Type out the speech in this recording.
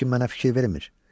Heç kim mənə fikir vermir.